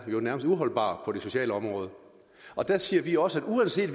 uholdbar på det sociale område der siger vi også at uanset